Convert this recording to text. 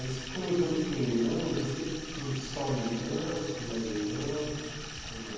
Você comentou que tem irmãos, você tem só uma irmã, você tem mais irmãos, como é?